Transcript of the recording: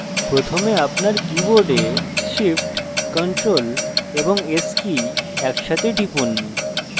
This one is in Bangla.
প্রথমে আপনার keyboard shift ctrl এবং s কী একসাথে টিপুন